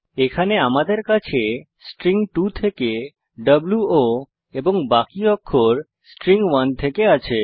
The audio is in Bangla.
এখানে আমাদের কাছে স্ট্রিং 2 থেকে ভো এবং বাকি অক্ষর স্ট্রিং 1 থেকে রয়েছে